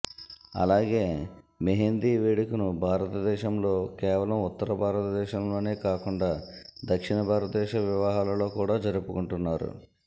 అలాగే మెహేంది వేడుకను భారతదేశంలో కేవలం ఉత్తర భారతదేశంలోనే కాకుండా దక్షిణ భారతదేశ వివాహాలలో కూడా జరుపుకుంటున్నారు